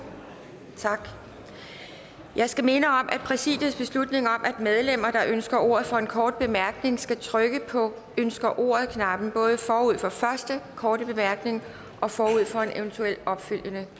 tak jeg skal minde om præsidiets beslutning om at medlemmer der ønsker ordet for en kort bemærkning skal trykke på ønsker ordet knappen både forud for første korte bemærkning og forud for en eventuel opfølgende